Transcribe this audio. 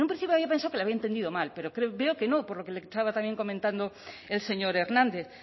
en un principio había pensado que le había entendido mal pero veo que no por lo que le estaba también comentando el señor hernández